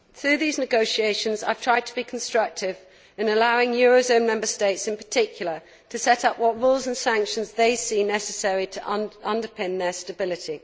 Through these negotiations I have tried to be constructive in allowing euro zone Member States in particular to set up what rules and sanctions they see necessary to underpin their stability.